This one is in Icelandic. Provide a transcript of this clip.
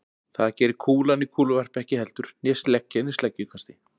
Það gerir kúlan í kúluvarpi ekki heldur né sleggjan í sleggjukasti.